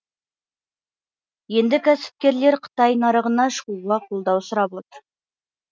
енді кәсіпкерлер қытай нарығына шығуға қолдау сұрап отыр